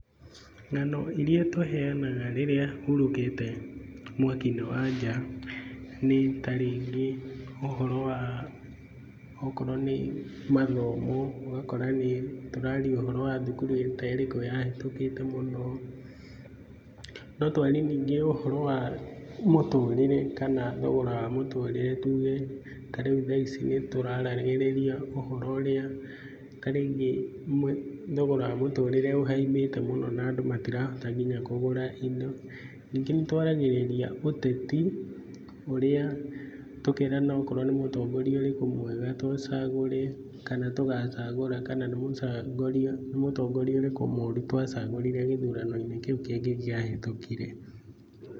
Ng'ano iria tũheanaga rĩrĩa hũrũkĩte mwaki-inĩ wa nja, nĩ ta rĩngĩ ũhoro wa gũkorwo nĩ mathomo, ũgakora nĩ tũraaria ũhoro wa thukuru ta ĩrĩkũ ya hĩtũkĩte mũno. No twarie ningĩ ũhoro wa mũtũrĩre kana thogora wa mutũrĩre, tuge ta rĩu tha ici nĩ tũraaragĩrĩria ũhoro ũrĩa ta rĩngĩ thogoro wa mũtũrĩre ũhaimbĩte mũno na andũ matirahota nginya kũgũra indo. Ningĩ nĩ twaragĩrĩria ũteti, ũrĩa tũkeerana okorwo nĩ mũtongoria ũrĩkũ mwega tũcagũre kana tũgacagũra, kana nĩ mũtongoria ũrĩkũ mũru twacagũrire gĩthurano-inĩ kĩu kĩngĩ kĩahĩtũkire.